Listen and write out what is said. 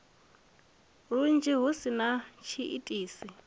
lunzhi hu si na tshiitisi